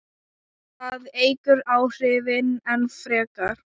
Það eykur áhrifin enn frekar.